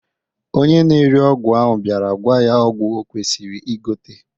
Onye na-ere ọgwụ ahụ bịara gwa ya ọgwụ okwesiri igote